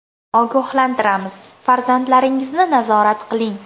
Ogohlantiramiz, farzandlaringizni nazorat qiling.